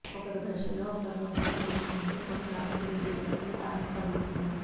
ఒక దశలో ఒకరిని ఒకరు తోచుకుంటూ కొట్లాటకు దిగేటట్లు టాస్క్ అడుగుతున్నారు